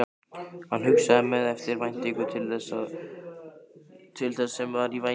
Hann hugsaði með eftirvæntingu til þess sem var í vændum.